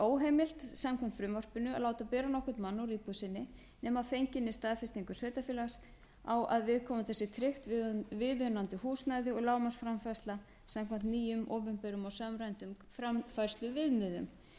óheimilt samkvæmt frumvarpinu að láta bera nokkurn mann úr íbúð sinni nema að fenginni staðfestingu sveitarfélags á að viðkomanda sé tryggt viðunandi húsnæði og lágmarksframfærsla samkvæmt nýjum opinberum og samræmdum framfærsluviðmiðum